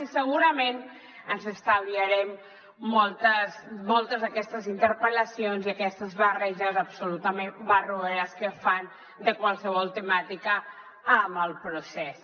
i segurament ens estalviarem moltes d’aquestes interpel·lacions i aquestes barreges absolutament barroeres que fan de qualsevol temàtica amb el procés